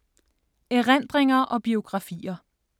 Erindringer og biografier